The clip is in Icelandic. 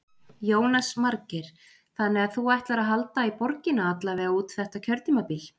Jónas Margeir: Þannig að þú ætlar að halda í borgina alla vega út þetta kjörtímabil?